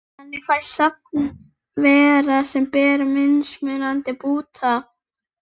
Þannig fæst safn veira sem bera mismunandi búta.